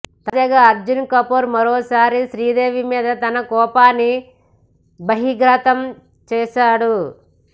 తాజాగా అర్జున్ కపూర్ మరోసారి శ్రీదేవి మీద తన కోపాన్ని బహిర్గతం చేశాడు